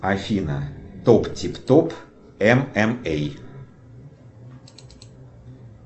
афина топ тип топ эм эм эй